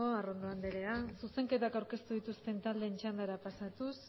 arrondo andrea zuzenketak aurkeztu dituzten taldeen txandara pasatuz